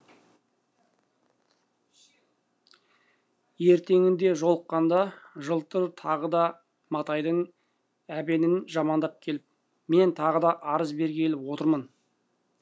ертеңінде жолыққанда жылтыр тағы да матайдың әбенін жамандап келіп мен тағы да арыз бергелі отырмын